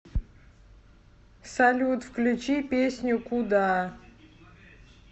салют включи песню куда